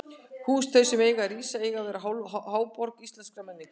Hús þau, sem þar eiga að rísa, eiga að verða háborg íslenskrar menningar!